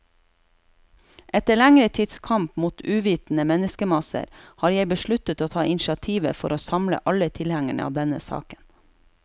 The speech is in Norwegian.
Etter lengre tids kamp mot uvitende menneskemasser, har jeg besluttet å ta initiativet for å samle alle tilhengere av denne saken.